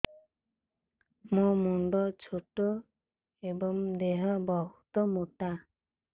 ମୋ ମୁଣ୍ଡ ଛୋଟ ଏଵଂ ଦେହ ବହୁତ ମୋଟା